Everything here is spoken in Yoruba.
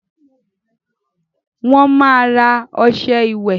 Wọ́n máa ra ọṣẹ ìwẹ̀